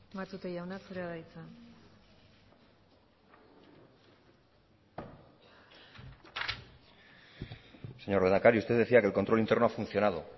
matute jauna zurea da hitza señor lehendakari usted decía que el control interno ha funcionado